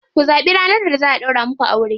Ku zaɓi ranar da za a ɗaura muku aure.